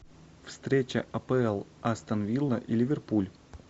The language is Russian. встреча апл астон вилла и ливерпуль